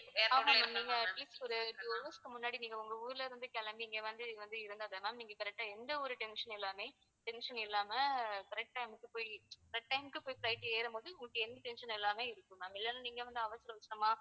நீங்க atleast ஒரு two hours முன்னாடி நீங்க உங்க ஊர்ல இருந்து கிளம்பி இங்க வ~வந்து வந்து இருந்தா தான் ma'am நீங்க correct ஆ எந்த ஒரு tension இல்லாம tension இல்லாம correct time க்கு போய் correct time க்கு போய் flight ஏறும்போது உங்களுக்கு எந்த tension இல்லாம இருக்கும் இல்லன்னா நீங்க அவசர அவசரமா